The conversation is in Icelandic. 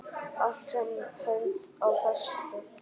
Allt sem hönd á festi.